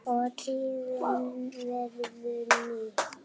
og tíðin verður ný